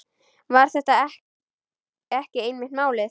Var þetta ekki einmitt málið?